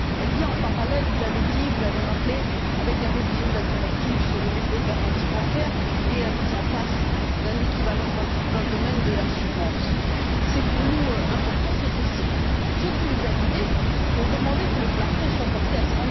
Elle se présente parallèlement, vous l'avez dit, vous l'avez rappelé, à la révision de la directive sur le dépôt de garanties bancaires et à la mise en place d'un équivalent dans le domaine de l'assurance. C'est important pour nous c'est aussi ce qui nous a guidés pour demander que le plafond soit porté à